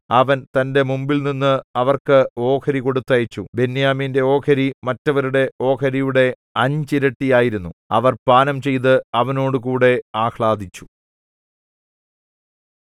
അവൻ തന്റെ മുമ്പിൽനിന്ന് അവർക്ക് ഓഹരികൊടുത്തയച്ചു ബെന്യാമീന്റെ ഓഹരി മറ്റവരുടെ ഓഹരിയുടെ അഞ്ചിരട്ടിയായിരുന്നു അവർ പാനംചെയ്ത് അവനോടുകൂടെ ആഹ്ളാദിച്ചു